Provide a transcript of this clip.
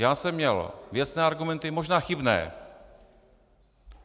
Já jsem měl věcné argumenty - možná chybné.